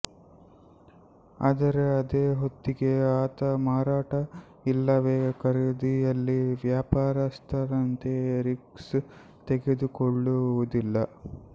ಆದರೆ ಅದೇ ಹೊತ್ತಿಗೆ ಆತ ಮಾರಾಟ ಇಲ್ಲವೇ ಖರೀದಿಯಲ್ಲಿ ವ್ಯಾಪಾರಸ್ಥನಂತೆ ರಿಸ್ಕ್ ತೆಗೆದುಕೊಳ್ಳುವುದಿಲ್ಲ